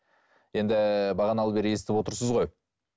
енді бағаналы бері естіп отырсыз ғой